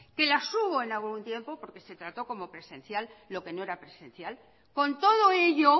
que las hubo en algún tiempo porque se trató como presencial lo que no era presencial con todo ello